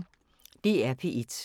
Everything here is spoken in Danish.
DR P1